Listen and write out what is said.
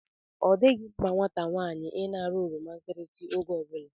Ọdịghị mma nwata nwaanyị ịna-ara oroma nkirisi oge ọbụla